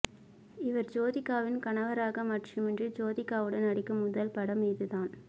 இவர் ஜோதிகாவின் கணவராக மட்டுமின்றி ஜோதிகாவுடன் நடிக்கும் முதல் படம் இதுதான்